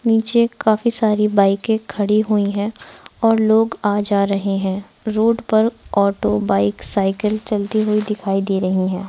नीचे काफी सारी बाईकें खड़ी हुई है और लोग आ जा रहे हैं रोड पर ऑटो बाइक साइकिल चलती हुई दिखाई दे रही हैं।